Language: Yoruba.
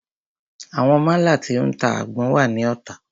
Àwọn málà tí o ń ta àgbọn wà ní Ota.